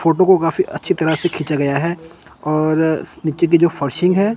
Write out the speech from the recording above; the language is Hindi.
फोटो को काफी अच्छी तरह से खींचा गया है और नीचे की जो फरशिंग है।